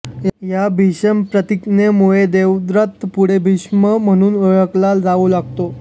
या भीषण प्रतिज्ञेमुळे देवव्रत पुढे भीष्म म्हणून ओळखला जाऊ लागतो